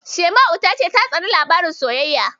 Shaima'u ta ce ta tsani labaran sosayya.